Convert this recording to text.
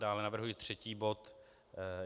Dále navrhuji třetí bod.